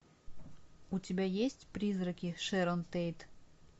у тебя есть призраки шэрон тейт